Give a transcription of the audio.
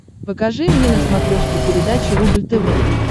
покажи мне на смотрешке передачу рубль тв